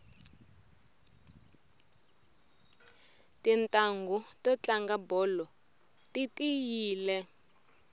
titanghu to tlanga bolo ti tiyile